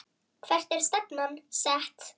Hvert er stefnan sett?